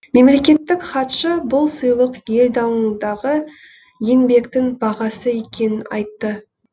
мемлекеттік хатшы бұл сыйлық ел дамуындағы еңбектің бағасы екенін айтты